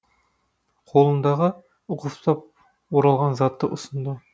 қолындағы ұқыптап оралған затты ұсынды